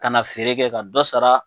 Ka na feere kɛ ka dɔ sara